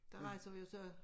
Der rejser vi jo så